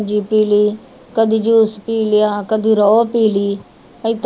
ਪੀਲੀ ਕਦੇ ਜੂਸ ਪੀ ਲਿਆ ਕਦੇ ਰੋਹ ਪੀ ਲਈ ਏਦਾਂ